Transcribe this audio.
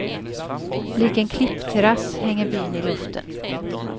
Lik en klippterass hänger byn i luften.